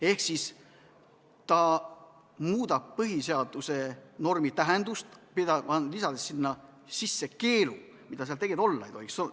Ehk ta muudab põhiseaduse normi tähendust, lisades sinna keelu, mida seal tegelikult olla ei tohiks.